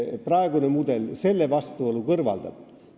Praegune mudel selle vastuolu kõrvaldab.